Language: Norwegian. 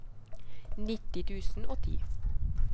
nitti tusen og ti